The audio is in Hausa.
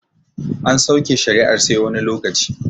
An sauke shari'ar sai wani lokaci